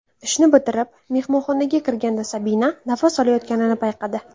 Ishni bitirib, mehmonxonaga kirganda Sabina nafas olayotganini payqadi.